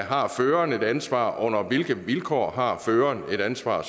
har føreren et ansvar under hvilke vilkår har føreren et ansvar